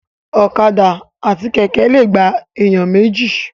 Ọ̀kadà àti Kẹ̀kẹ́ lè gba èèyàn méjì